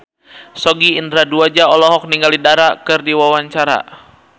Sogi Indra Duaja olohok ningali Dara keur diwawancara